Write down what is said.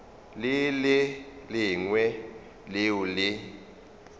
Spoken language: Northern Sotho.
le le lengwe leo le